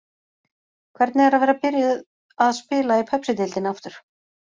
Hvernig er að vera byrjuð að spila í Pepsideildinni aftur?